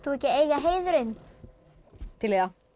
ekki eiga heiðurinn til í það